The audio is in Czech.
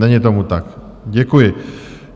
Není tomu tak, děkuji.